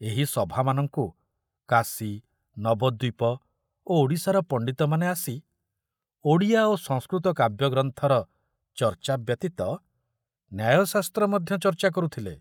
ଏହି ସଭାମାନଙ୍କୁ କାଶୀ, ନବଦୀପ ଓ ଓଡ଼ିଶାର ପଣ୍ଡିତମାନେ ଆସି ଓଡ଼ିଆ ଓ ସଂସ୍କୃତ କାବ୍ୟଗ୍ରନ୍ଥର ଚର୍ଚ୍ଚା ବ୍ୟତୀତ ନ୍ୟାୟଶାସ୍ତ୍ର ମଧ୍ୟ ଚର୍ଚ୍ଚା କରୁଥିଲେ।